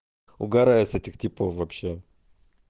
угораю с этих типов вообще